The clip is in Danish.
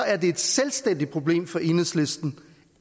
et selvstændigt problem for enhedslisten